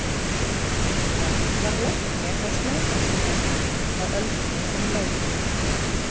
Hann var læknir á Snæfellsnesi á öldinni sem leið.